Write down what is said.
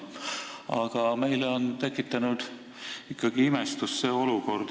Aga meis on tekitanud see olukord ikkagi imestust.